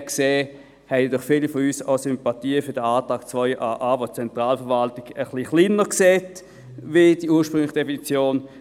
Insofern haben viele von uns auch Sympathien für den Antrag 2a.a, welcher die Zentralverwaltung etwas kleiner sieht als gemäss der ursprünglichen Definition.